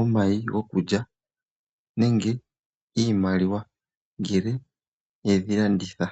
omayi gokulya nenge iimaliwa ngele yedhi landitha.